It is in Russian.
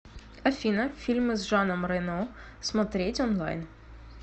афина фильмы с жаном рено смотреть онлайн